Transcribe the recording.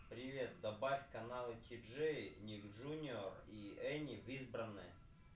привет добавь каналы тиджей ник джуниор и эни в избранное